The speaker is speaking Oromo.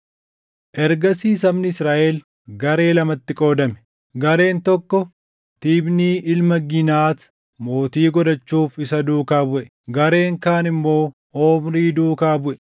Ergasii sabni Israaʼel garee lamatti qoodame; gareen tokko Tiibnii ilma Giinat mootii godhachuuf isa duukaa buʼe; gareen kaan immoo Omrii duukaa buʼe.